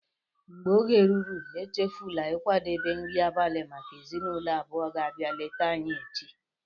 mgbe oge ruru, échéfula ịkwadebe nri abalị maka ezinụlọ abụọ ga-abia léta anyị echi